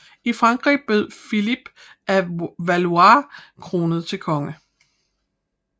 I Frankrig blev Filip af Valois kronet til konge